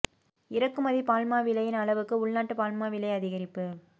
இறக்குமதி பால் மா விலையின் அளவுக்கு உள்நாட்டு பால் மா விலை அதிகரிப்பு